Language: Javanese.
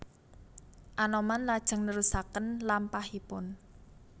Anoman lajeng nerusaken lampahipun